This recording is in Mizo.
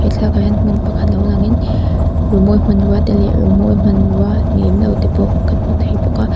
he thlalakah hian hmun pakhat lo langin rimawi hmanrua te leh rimawi hmanrua ni lem lo te pawh kan hmu thei bawk a.